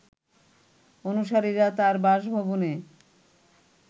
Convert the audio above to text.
অনুসারীরা তার বাসভবনে